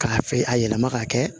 K'a fe a yɛlɛma ka kɛ